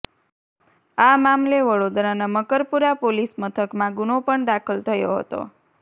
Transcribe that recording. આ મામલે વડોદરાના મકરપુરા પોલીસ મથકમાં ગુનો પણ દાખલ થયો હતો